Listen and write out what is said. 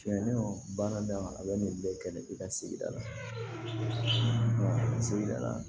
Tiɲɛ don baara da a bɛ nin bɛɛ kɛ ne ka sigida la sigida la